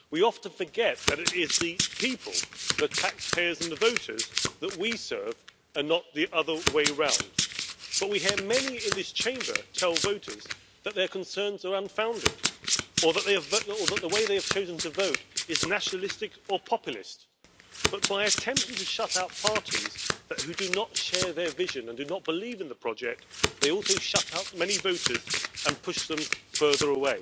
sich darum kümmern, dass eine Initiative gestartet wird. Ich erwarte das dann auch. Ja, wir haben gesagt Die Arbeiter auf digitalen Plattformen dürfen nicht zum neuen Proletariat werden. Wir brauchen eine Sicherung ihres Status, ihrer Rechte. Wir erwarten Ihren Vorschlag. Es ist aus unserer Sicht absolut inakzeptabel, dass in den meisten Ländern der Europäischen Union Frauen durchschnittlich